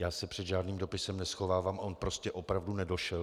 Já se před žádným dopisem neschovávám, on prostě opravdu nedošel.